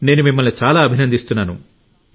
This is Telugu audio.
నేను మిమ్మల్ని చాలా అభినందిస్తున్నాను